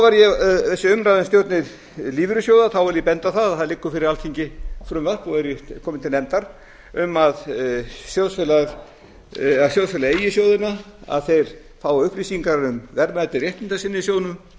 var þessi umræða um stjórnir lífeyrissjóða vil ég benda á það að það liggur fyrir alþingi frumvarp og er víst komið til nefndar um að sjóðsfélagi eigi sjóðina að þeir fái upplýsingar um verðmæti réttinda sinna í